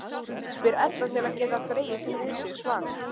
spyr Edda til að geta dregið við sig svarið.